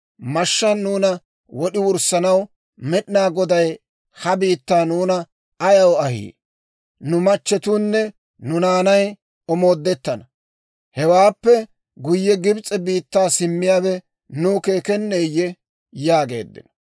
Mashshaan nuuna wod'i wurssanaw Med'inaa Goday ha biittaa nuuna ayaw ahii? Nu machchetuunne nu naanay omoodettana. Hewaappe guyye Gibs'e biittaa simmiyaawe nuw keekenneeyye?» yaageeddino.